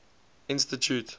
institute